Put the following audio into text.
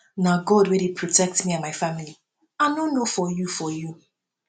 na god wey dey protect me and my family i no know for you for you